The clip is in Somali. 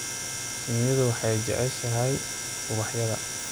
Shinnidu waxay jeceshahay ubaxyada.